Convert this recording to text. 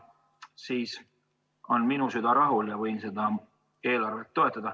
Siis on minu süda rahul ja ma võin seda eelarvet toetada.